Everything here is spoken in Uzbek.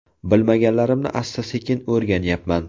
Bilmaganlarimni asta-sekin o‘rganyapman.